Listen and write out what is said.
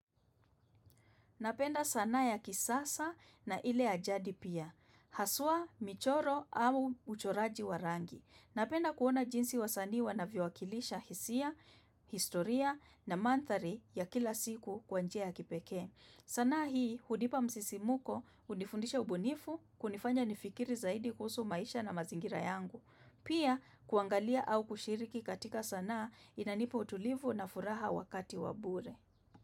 Napenda sanaa ya kisasa na ile ya jadi pia. Haswa, michoro au uchoraji wa rangi. Napenda kuona jinsi wasanii wanavyowakilisha hisia, historia na mandhari ya kila siku kwa njia ya kipekee. Sanaa hii hunipa msisimuko hunifundisha ubunifu kunifanya nifikiri zaidi kuhusu maisha na mazingira yangu. Pia kuangalia au kushiriki katika sanaa inanipa utulivu na furaha wakati wa bure.